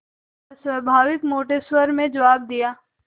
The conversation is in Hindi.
अस्वाभाविक मोटे स्वर में जवाब दिया